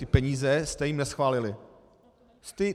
Ty peníze jste jim neschválili.